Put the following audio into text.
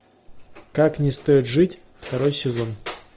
как не стоит жить второй сезон